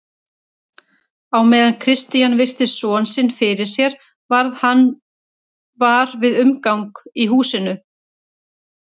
En hverjar eru líkurnar á að eitthvað þessu líkt komi fyrir hér á Íslandi?